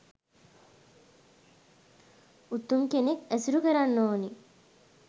උතුම් කෙනෙක් ඇසුරු කරන්න ඕන